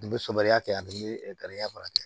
N bɛ sobaya kɛ ani n bɛ garibuya baara kɛ